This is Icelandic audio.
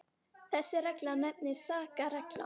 þessi regla nefnist sakarreglan